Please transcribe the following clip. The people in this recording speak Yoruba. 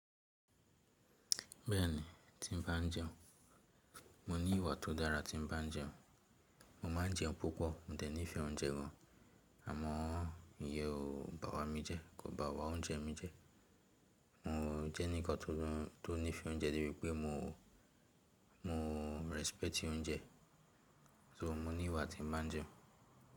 Bẹ́ẹ̀ni, tí n bá n jẹun. Mo ní ìwà tó dára tí n bá n jẹun. Mo máa ń jẹun púpọ̀, mò dẹ̀ ní ìfẹ́ oúnjẹ gan an. Àmọ́ ìyẹ́n ò bá wa mí jẹ, kò bá wa oúnjẹ mi jẹ. Mo jẹ́ ẹnìkan tó to ní ìfẹ́ oúnjẹ debi pé mo mo rẹ́sípẹ́ẹ̀tì oúnjẹ. So mo ní ìwà tí n bá n jẹun.